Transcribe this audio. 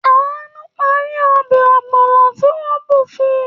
Àánú parí ọbẹ̀ ọ̀gbọ̀nà tí wọ́n bù fun.